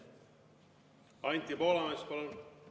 Anti Poolamets, palun!